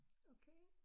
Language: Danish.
Okay